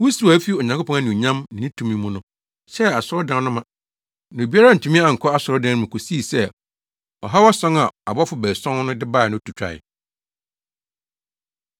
Wusiw a efi Onyankopɔn anuonyam ne ne tumi mu no hyɛɛ asɔredan no ma. Na obiara antumi ankɔ asɔredan no mu kosii sɛ ɔhaw ason a abɔfo baason no de bae no to twae.